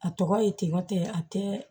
A tɔgɔ ye ten a tɛ